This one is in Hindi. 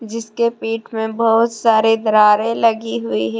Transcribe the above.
जिसके पीठ में बहुत सारे दरारे लगी हुई है।